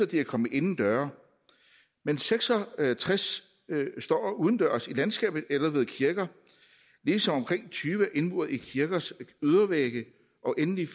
de er kommet indendøre men seks og tres står udendørs i landskabet eller ved kirker ligesom omkring tyve er indmuret i kirkers ydervægge og endelig er